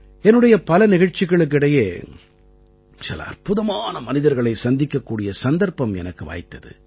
என்னுடைய பல நிகழ்ச்சிகளுக்கு இடையே சில அற்புதமான மனிதர்களைச் சந்திக்கக்கூடிய சந்தர்ப்பம் எனக்கு வாய்த்தது